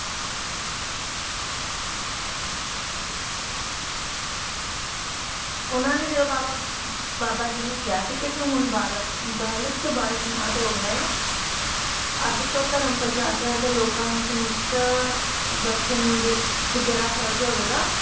ਓਹਨਾ ਨੇ ਜਦੋ ਬਾਬਾ ਬਾਬਾ ਜੀ ਨੂੰ ਕਿਹਾ ਸੀ ਕੇ ਤੂੰ ਹੁਣ ਬਾਲਕ ਬਾਲਕ ਤੋਂ ਬਾਲਕ ਨਾਥ ਹੋ ਗਿਆ ਏ ਅੱਜ ਤੋਂ ਧਰਮ ਪ੍ਰਚਾਰ ਕਰ ਤੇ ਲੋਕਾਂ ਨੂੰ ਸਮੁੱਤ ਬਖਸ਼ਣੀ ਤੇਰਾ ਫਰਜ ਹੋਵੇਗਾ